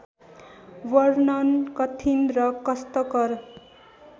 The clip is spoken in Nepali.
वर्णन कठिन र कष्टकर